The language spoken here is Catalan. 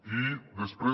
i després